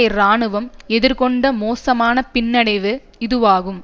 இராணுவம் எதிர்கொண்ட மோசமான பின்னடைவு இதுவாகும்